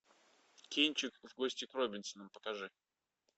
кинчик в гости к робинсонам покажи